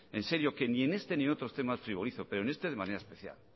en serio que ni en este ni en otros temas frivolizo pero en este de manera especial